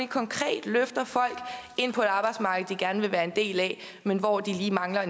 konkret løfter folk ind på et arbejdsmarked de gerne vil være en del af men hvor de mangler